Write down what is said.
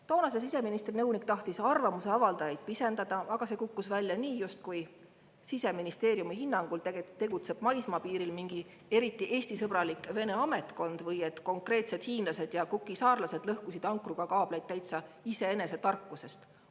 Toonase siseministri nõunik tahtis arvamuse avaldajaid pisendada, aga see kukkus välja nii, justkui tegutseks Siseministeeriumi hinnangul maismaapiiril mingi eriti Eesti-sõbralik Vene ametkond või et konkreetsed hiinlased ja Cooki saare lõhkusid ankruga kaableid täitsa iseenese tarkusest.